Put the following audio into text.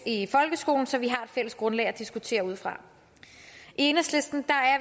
i folkeskolen så vi har et fælles grundlag at diskutere ud fra i enhedslisten